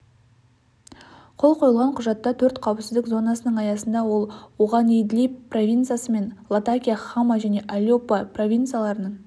қол қойылған құжатта төрт қауіпсіздік зонасының аясында ал оғанидлиб провинциясы мен латакия хама және алеппо провинцияларының